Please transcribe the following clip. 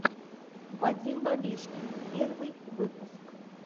вадим бабешкин первый выпуск